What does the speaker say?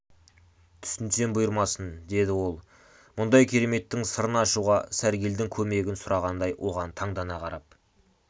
түсінсем бұйырмасын деді ол мұндай кереметтің сырын ашуға сәргелдің көмегін сұрағандай оған таңдана қарап